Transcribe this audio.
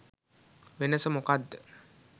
වෙනස මොකද්ද?